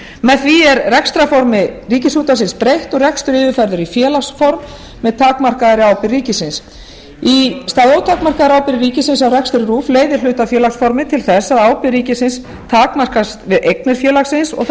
með því er rekstrarformi ríkisútvarpsins breytt og rekstur yfirfærður í félagsform með takmarkaðri ábyrgð ríkisins í stað ótakmarkaðrar ábyrgðar ríkisins á rekstri rúv leiðir hlutafélagsformið til þess að ábyrgð ríkisins takmarkast við eignir félagsins og það